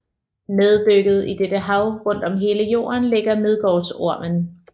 Neddykket i dette hav rundt om hele Jorden ligger Midgårdsormen